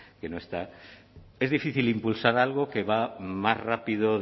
que no está es difícil impulsar algo que va más rápido